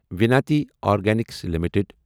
Vinati organics limited